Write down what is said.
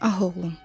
Ah oğlum.